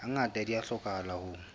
ngata di a hlokahala ho